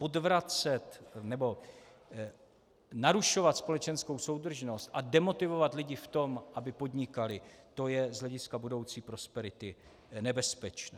Odvracet nebo narušovat společenskou soudržnost a demotivovat lidi v tom, aby podnikali, to je z hlediska budoucí prosperity nebezpečné.